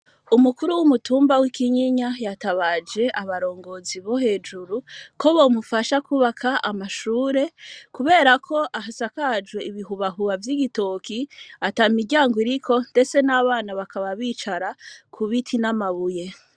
Umukuru w'umutumba, w'i Kinyinya, yatabaje abarongozi, bo hejuru, ko bomufasha kwubaka amashure; kubera ko, asakajwe ibihubahuba vy'igitoki, ata miryango iriko, ndetse n'abana, bakaba bicara, ku biti n'amabuye.